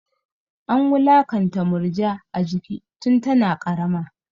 An wulakanta Murja a jiki tun tana ƙarama.